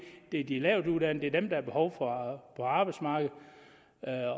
det er de lavtuddannede der er behov for på arbejdsmarkedet